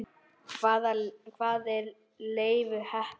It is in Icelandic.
Hvaðan var Leifur heppni?